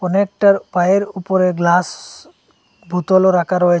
অনেকটার পায়ের উপরে গ্লাস বোতলও রাখা রয়েছে।